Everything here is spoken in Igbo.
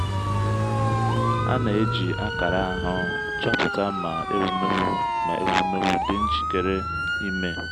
a na-eji akara ahụ́ chọpụta ma ewumewụ ma ewumewụ dị njikere ime.